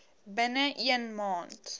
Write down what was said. binne een maand